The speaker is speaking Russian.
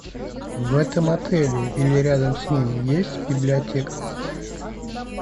в этом отеле или рядом с ним есть библиотека